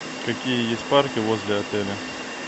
какие есть парки возле отеля